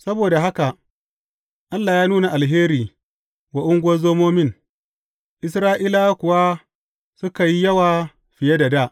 Saboda haka Allah ya nuna alheri wa ungozomomin, Isra’ilawa kuwa suka yi yawa fiye da dā.